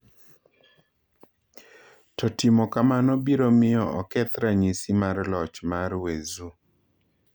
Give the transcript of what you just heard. To timo kamano biro miyo oketh ranyisi mar loch mar Weizhou.